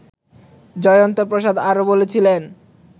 জয়ন্ত প্রসাদ আরও বলছিলেন